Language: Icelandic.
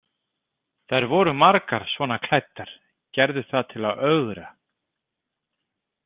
Þær voru margar svona klæddar, gerðu það til að ögra.